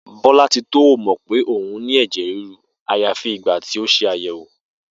Bó̩lá̩titó ò mò̩ pé òun ní è̩jè̩ ríru àyàfi ìgbà tí ó se àyè̩wò